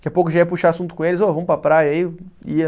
Daqui a pouco já ia puxar assunto com eles, ô vamos para a praia aí, ia...